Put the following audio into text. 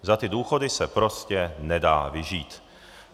Za ty důchody se prostě nedá vyžít.